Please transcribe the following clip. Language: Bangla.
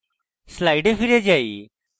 slides ফিরে যাই